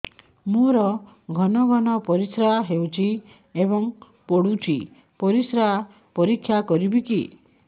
ମୋର ଘନ ଘନ ପରିସ୍ରା ହେଉଛି ଏବଂ ପଡ଼ୁଛି ପରିସ୍ରା ପରୀକ୍ଷା କରିବିକି